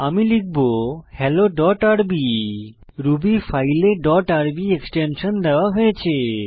আমি লিখব helloআরবি রুবি ফাইলে ডট আরবি এক্সটেনশন দেওয়া হয়েছে